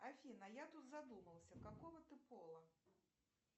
афина я тут задумался какого ты пола